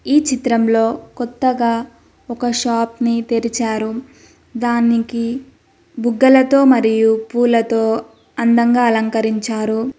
ఈ చిత్రంలో కొత్తగా ఒక షాప్ ని తెరిచారు దానికి బుగ్గల తో మరియు పూలతో అందంగా అలంకరించారు.